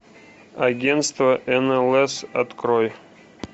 агентство нлс открой